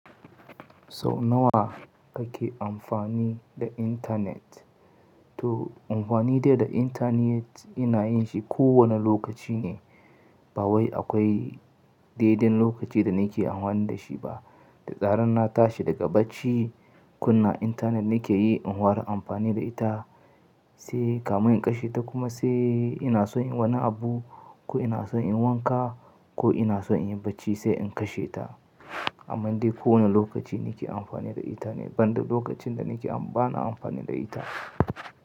Sau nawa kake amfani da intanet? To amfani dai da intanet ina yin shi kowane lokaci ne. Ba wai akwai daiɗain lokaci da nake amfani da shi ba. Da zaran na tashi daga bacci, kunna intanet nake yi in inhuara amfani da ita sai kamun in kashe ta kuma sai ina son inyi wani abu ko ina son in wanka ko ina son in yi bacci sai in kashe ta. Amman dai kowane lokaci nike amfani da intanet. Ban da lokacin da nake am-- ba na amfani da ita.